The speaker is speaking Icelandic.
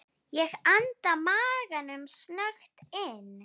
Ég anda maganum snöggt inn.